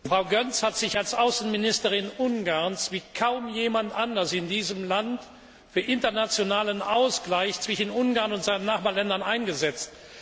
Frau Göncz hat sich als Außenministerin Ungarns wie kaum jemand anderer in diesem Land für den internationalen Ausgleich zwischen Ungarn und seinen Nachbarländern eingesetzt.